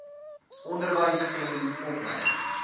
onderwys en opleiding